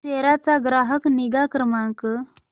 सेरा चा ग्राहक निगा क्रमांक